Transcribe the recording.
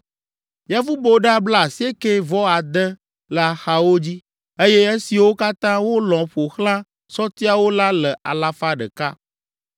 Yevuboɖa blaasiekɛ-vɔ-ade le axawo dzi, eye esiwo katã wolɔ̃ ƒo xlã sɔtiawo la le alafa ɖeka.